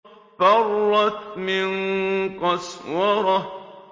فَرَّتْ مِن قَسْوَرَةٍ